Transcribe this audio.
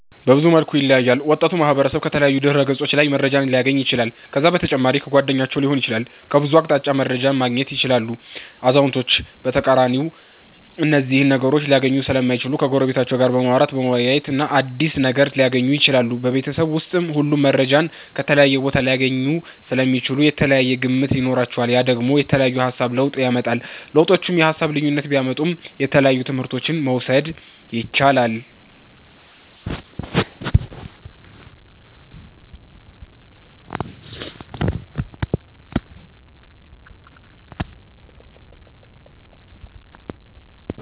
በብዙ መልኩ ይለያያል ወጣቱ ማህበረሰብ ከተለያዩ ድህረ ገፆች ላይ መረጃን ሊያገኝ ይችላል ከዛ በተጨማሪ ከጓደኞቻቸዉ ሊሆን ይችላል ከብዙ አቅጣጫ መረጃን ማገኘት ይችላሉ አዛዉነቶች በተቃራኒ እነዚህን ነገሮች ሊያገኙ ሰለማይችሉ ከጎረቤቶቻቸዉ ጋር በማዉራተ በመወያየት አዲስ ነገር ሊያገኙ ይችላሉ። ቤበተሰብ ዉስጥ ሁሉም መረጃን ከተለያየ ቦታ ሊያገኙ ሰለሚችሉ የተለያየ ግምት ይኖራቸዋል ያ ደግሞ የተለያየ የሃሳብ ለዉጥ ያመጣል። ለዉጦቹ የሃሳብ ልዩነት ቢያመጡም የተለያየ ትምህረቶችን መዉሰድ የቻላል